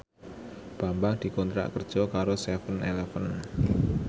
Bambang dikontrak kerja karo seven eleven